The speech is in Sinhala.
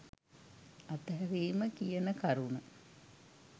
අතහැරීම කියන කරුණ.